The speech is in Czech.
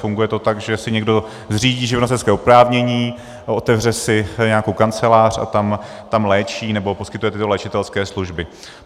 Funguje to tak, že si někdo zřídí živnostenské oprávnění, otevře si nějakou kancelář a tam léčí nebo poskytuje tyto léčitelské služby.